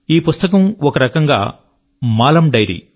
ఈ పుస్తకం ఒకరకంగా మాలమ్maalam యొక్క డైరీ